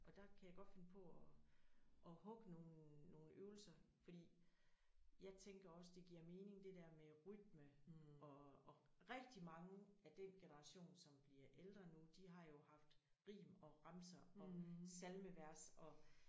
Og der kan jeg godt finde på at at hugge nogle nogle øvelser fordi jeg tænker også det giver mening det der med rytme og og rigtig mange af den generation som bliver ældre nu de har jo haft rim og remser og salmevers og